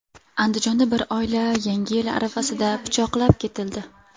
Andijonda bir oila Yangi yil arafasida pichoqlab ketildi.